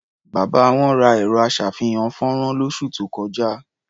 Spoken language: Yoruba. Bàbá wọn ra ẹ̀rọ-aṣàfihàn-fọ́nrán lósù tó kọjá.